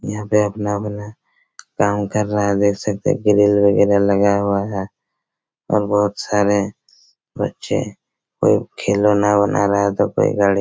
यहाँ पे अपना-अपना कम कर रह है देख सकते है गिरिल वगैरा लगाया हुआ है और बहोत सारे बच्चे और खिलोने बना रहा है दो पाइये गाड़ी--